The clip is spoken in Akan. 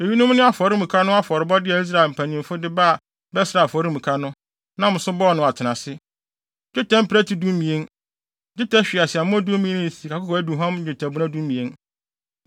Eyinom ne afɔremuka no afɔrebɔde a Israel mpanyimfo de ba bɛsraa afɔremuka no, nam so bɔɔ no atenase: dwetɛ mprɛte dumien, dwetɛ hweaseammɔ dumien ne sikakɔkɔɔ aduhuam nnwetɛbona dumien.